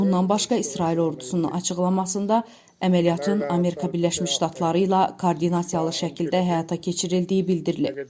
Bundan başqa İsrail ordusunun açıqlamasında əməliyyatın Amerika Birləşmiş Ştatları ilə koordinasiyalı şəkildə həyata keçirildiyi bildirilib.